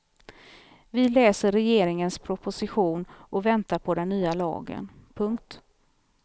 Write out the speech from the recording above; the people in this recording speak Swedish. Vi läser regeringens proposition och väntar på den nya lagen. punkt